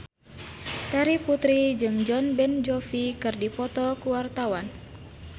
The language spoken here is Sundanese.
Terry Putri jeung Jon Bon Jovi keur dipoto ku wartawan